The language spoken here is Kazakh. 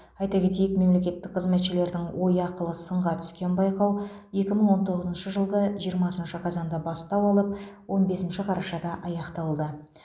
айта кетейік мемлекеттік қызметшілердің ой ақылы сынға түскен байқау екі мың он тоғызыншы жылғы жиырмасыншы қазанда бастау алып он бесінші қарашада аяқталды